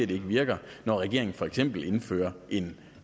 det ikke virker når regeringen for eksempel indfører en